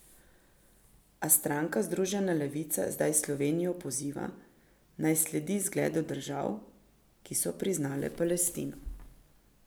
A stranka Združena levica zdaj Slovenijo poziva, naj sledi zgledu držav, ki so priznale Palestino.